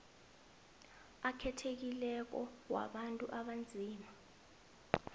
akhethekileko wabantu abanzima